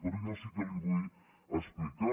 però jo sí que li vull explicar